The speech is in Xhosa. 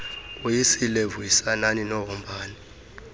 woyisile vuyisanani nohombani